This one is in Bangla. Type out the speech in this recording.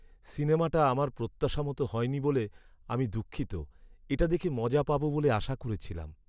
সিনেমাটা আমার প্রত্যাশা মতো হয়নি বলে আমি দুঃখিত। এটা দেখে মজা পাবো বলে আশা করেছিলাম।